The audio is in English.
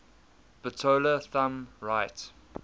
bitola thumb right